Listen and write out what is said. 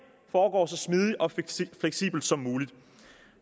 foregår så smidigt og fleksibelt som muligt